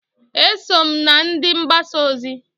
Eso m na ndị mgbasa ozi.